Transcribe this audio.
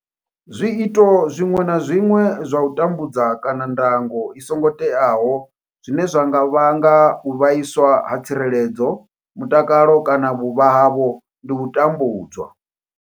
Zwiito zwiṅwe na zwiṅwe zwa u tambudza kana ndango i songo teaho zwine zwa nga vhanga u vhaiswa ha tsireledzo, mutakalo kana vhuvha havho ndi u tambudzwa.